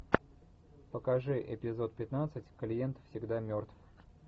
покажи эпизод пятнадцать клиент всегда мертв